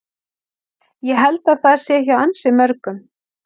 Ég held að það sé hjá ansi mörgum liðum.